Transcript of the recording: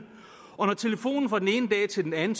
og når telefonen fra den ene dag til den anden